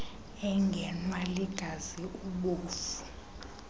engenwa ligazi ubovu